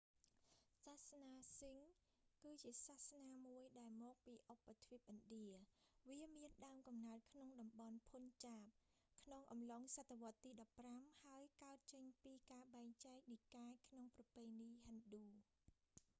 សាសនាសិខ្ហ sikhism គឺជាសាសនាមួយ ដែលមកពីឧបទ្វីបឥណ្ឌា វាមានដើមកំណើតក្នុងតំបន់ភុនចាប punjab ក្នុងអំឡុងសតវត្សទី15 ហើយកើតចេញពីការបែងចែកនិកាយក្នុងប្រពៃណីហិណ្ឌូ